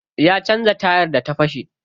Ya canza tayar da ta fashe.